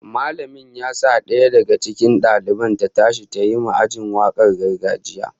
Mallamin ya sa daya daga cikin daliban ta tashi tayi ma aji wakar gargajiya